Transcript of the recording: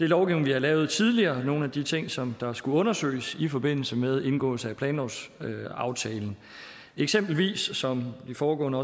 lovgivning vi har lavet tidligere nogle af de ting som der skulle undersøges i forbindelse med indgåelse af planlovsaftalen eksempelvis som de foregående